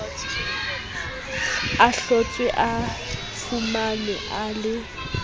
ahlotswe a fumanwe a le